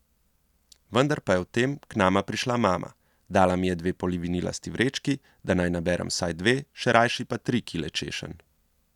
Vendar pa je vtem k nama prišla mama, dala mi je dve polivinilasti vrečki, da naj naberem vsaj dve, še rajši pa tri kile češenj.